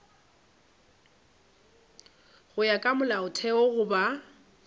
go ya ka molaotheo goba